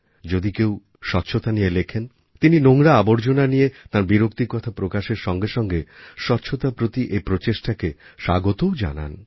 যদি কেউ স্বচ্ছতা নিয়ে লেখেন তিনি নোংরা আবর্জনা নিয়ে তাঁর বিরক্তির কথা প্রকাশের সঙ্গে সঙ্গে স্বচ্ছতার প্রতি এই প্রচেষ্টাকে স্বাগতও জানান